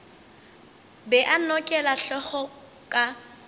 be a nokela hlogo ka